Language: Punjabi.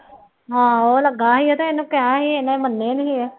ਆਹੋ ਉਹ ਲੱਗਾ ਸੀ ਤੇ ਇਹਨੂੰ ਕਿਹਾ ਸੀ ਇਹਨੇ ਮੰਨੇ ਨੀ ਗੇ।